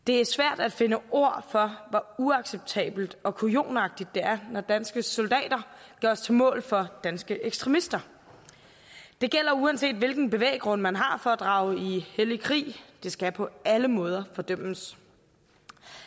det er svært at finde ord for hvor uacceptabelt og kujonagtigt det er når danske soldater gøres til mål for danske ekstremister det gælder uanset hvilken bevæggrund man har for at drage i hellig krig det skal på alle måder fordømmes